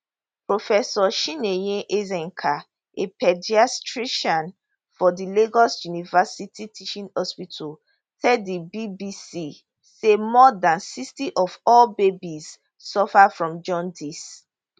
professor chinyere ezeaka a paediatrician for di lagos university teaching hospital tell di bbc say more dan 60 of all babies suffer from jaundice